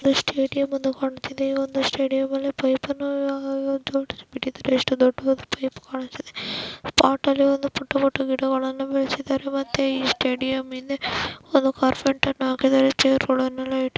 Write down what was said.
ಇದು ಸ್ಟೇಡಿಯಂ ಒಂದು ಕಾಣುತ್ತಿದೆ ಈ ಒಂದು ಸ್ಟೇಡಿಯಂ ಅಲ್ಲಿ ಪೈಪ್ ಅನ್ನು ಜೊಡಸಿದ್ದಾರೆ ಎಷ್ಟು ದೊಡ್ಡ ದೊಡ್ಡ ಪೈಪ್ಗಳು ಕಾಣಿಸುತ್ತಿವೆ ಅ ಪಾಟಲ್ಲಿ ಒಂದು ಪುಟ್ಟ ಪುಟ್ಟ ಗಿಡಗಳನ್ನು ಬೆಳಸಿದ್ದಾರೆ ಮತ್ತೆ ಈ ಸ್ಟೇಡಿಯಂ ಹಿಂದೆ ಒಂದು ಕಾರ್ಪೆಟ್ ಅನ್ನ ಹಾಕಿದರೆ ಚೇರ್ಗಳನೆಲ್ಲ--